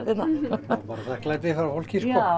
bara þakklæti frá fólki